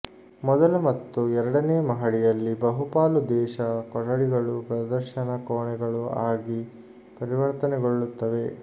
ಮೊದಲ ಮತ್ತು ಎರಡನೇ ಮಹಡಿಯಲ್ಲಿ ಬಹುಪಾಲು ದೇಶ ಕೊಠಡಿಗಳು ಪ್ರದರ್ಶನ ಕೋಣೆಗಳು ಆಗಿ ಪರಿವರ್ತನೆಗೊಳ್ಳುತ್ತವೆ